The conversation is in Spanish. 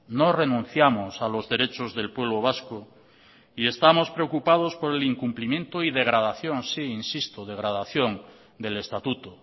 no renunciamos a los derechos del pueblo vasco y estamos preocupados por el incumplimiento y degradación sí insisto degradación del estatuto